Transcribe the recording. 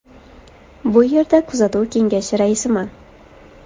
Bu yerda kuzatuv kengashi raisiman.